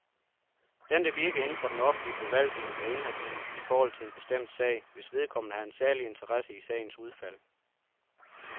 Den, der virker inden for den offentlige forvaltning, er inhabil i forhold til en bestemt sag, hvis vedkommende har en særlig interesse i sagens udfald.